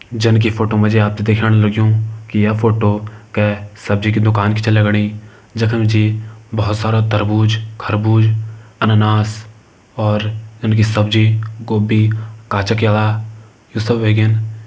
जन की फोटो मा जी आप ते दिखण लग्युं की ये फोटो कै सब्जी की दुकान की छ लगणी जखम जी बहोत सारा तरबूज खरबूज अन्नानास और जनकि सब्जी गोबी काचा केला यू सब वेगिन।